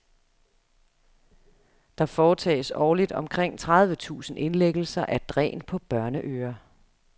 Der foretages årligt omkring tredive tusind indlæggelser af dræn på børneører.